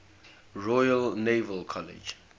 royal naval college